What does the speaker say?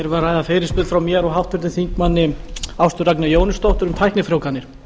að ræða fyrirspurn frá mér og háttvirtur þingmaður ástu ragnheiði jóhannesdóttur um tæknifrjóvganir